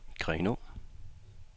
Grenaa